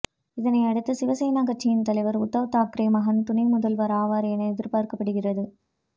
இதனையடுத்து சிவசேனா கட்சியின் தலைவர் உத்தவ் தாக்கரே மகன் துணை முதல்வர் ஆவார் என எதிர்பார்க்கபடுகிறது